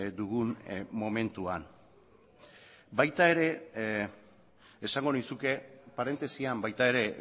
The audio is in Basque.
dugun momentuan baita ere esango nizuke parentesian baita ere